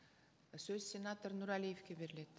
сөз сенатор нұрәлиевке беріледі